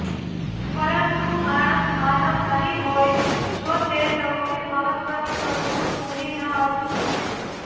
પરંતુ માણસ માનવ નહીં હોય જો તે સૌથી મહત્વની વસ્તુ ભૂલી ન હતી